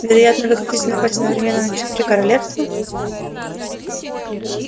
вероятно вы хотите напасть одновременно на четыре королевстра